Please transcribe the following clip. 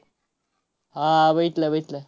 हा, बघितला बघितला.